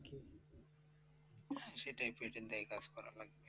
সেটাই পেটের দায়ে কাজ করা লাগবে।